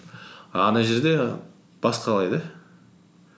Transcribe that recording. а ана жерде басқалай да